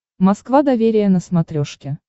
москва доверие на смотрешке